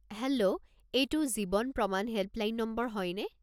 হে'ল্ল'! এইটো জীৱন প্ৰমাণ হেল্পলাইন নম্বৰ হয়নে?